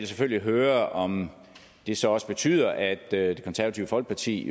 selvfølgelig høre om det så også betyder at det konservative folkeparti